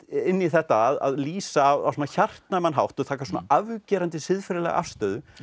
inn í þetta að lýsa á svona hjartnæman hátt og taka svona afgerandi siðferðilega afstöðu